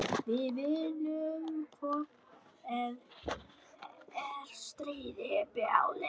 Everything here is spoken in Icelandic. Við vinnum hvort eð er stríðið bráðlega.